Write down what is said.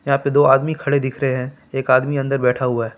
यहाँ पर दो आदमी खड़े दिख रहे हैं एक आदमी अंदर बैठा हुआ है।